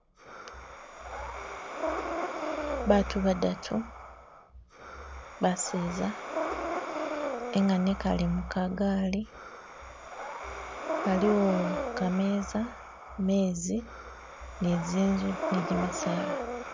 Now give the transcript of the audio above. Baatu badatu baseza engane ekale mu ka gaali haliwo ka meeza, meezi ni zinzu ni gimisaala.